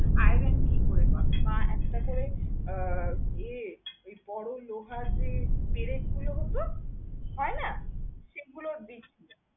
Iron কি করে পাবে? মা একটাতে আহ এর বড় লোহার যে পেরেকগুলো হত, হয় না? সেগুলো গেথে দেয়।